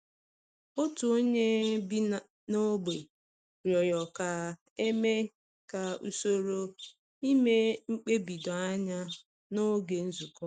Otu onye bi n’ógbè rịọrọ ka e mee ka usoro ime mkpebi doo anya n’oge nzukọ.